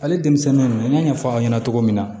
Ale denmisɛnnin n y'a ɲɛfɔ aw ɲɛna cogo min na